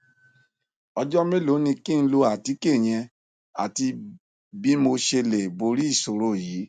ọjọ mélòó ni kí n lo àtíkè yẹn àti bí mo ṣe lè borí ìṣòro yìí